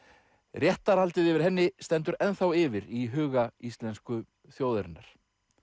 réttarhaldið yfir henni stendur yfir í huga íslensku þjóðarinnar